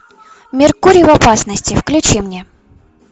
меркурий в опасности включи мне